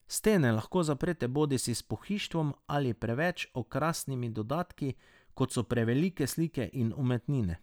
Stene lahko zaprete bodisi s pohištvom ali preveč okrasnimi dodatki, kot so prevelike slike in umetnine.